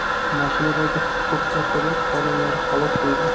Mashinadagi huquq-tartibot xodimlari halok bo‘ldi.